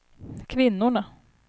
kvinnorna